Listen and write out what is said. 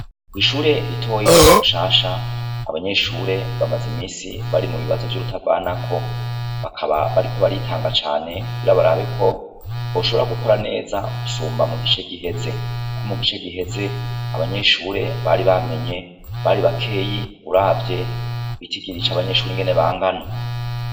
Kw'ishure ritoye ryo kumushasha abanyeshure bamaze imisi bari mu bibazo vy'urutavanako bakaba bariko baritanga cane barabeko boshobora gukora neza gusumba mu gice giheze ko mu gice giheze abanyeshuri bari bamenye bari bakeyi uravye kugitigiri ca abanyeshuri ingene bangana.